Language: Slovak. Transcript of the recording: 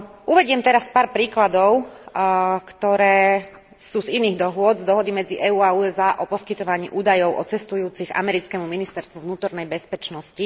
Uvediem teraz pár príkladov, ktoré sú z iných dohôd, z dohody medzi EÚ a USA o poskytovaní údajov o cestujúcich americkému Ministerstvu vnútornej bezpečnosti.